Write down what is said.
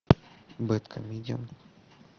бэдкомедиан